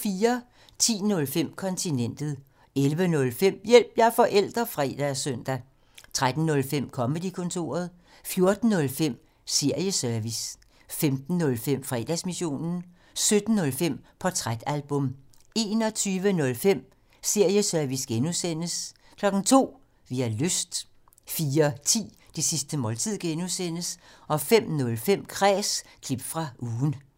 10:05: Kontinentet 11:05: Hjælp – jeg er forælder! (fre og søn) 13:05: Comedy-kontoret 14:05: Serieservice 15:05: Fredagsmissionen 17:05: Portrætalbum 21:05: Serieservice (G) 02:00: Vi har lyst 04:10: Det sidste måltid (G) 05:05: Kræs – klip fra ugen